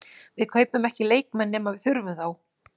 Við kaupum ekki leikmenn nema við þurfum þá.